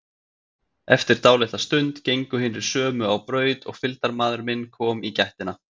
Eftir dálitla stund gengu hinir sömu á braut og fylgdarmaður minn kom í gættina.